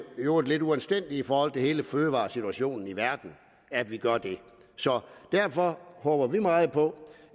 i øvrigt lidt uanstændigt i forhold til hele fødevaresituationen i verden at vi gør det så derfor håber vi meget på